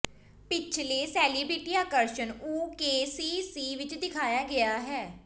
ਪਿਛਲੇ ਸੇਲਿਬ੍ਰਿਟੀ ਆਕਰਸ਼ਣ ਓ ਕੇ ਸੀ ਸੀ ਵਿਚ ਦਿਖਾਇਆ ਗਿਆ ਹੈ